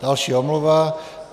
Další omluva.